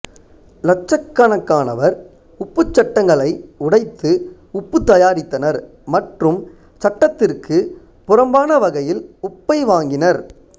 இலட்சக்கணக்கானவர் உப்புச் சட்டங்களை உடைத்து உப்பு தயாரித்தனர் மற்றும் சட்டத்திற்குப் புறம்பானவகையில் உப்பை வாங்கினர்